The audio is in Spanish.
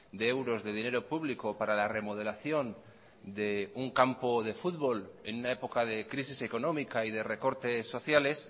de euros de dinero público para la remodelación de un campo de fútbol en una época de crisis económica y de recortes sociales